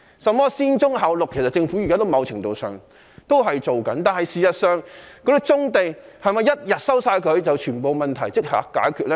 甚麼"先棕後綠"，其實現在政府某程度上也是這樣做的，但是否收回棕地，便令全部問題也可解決呢？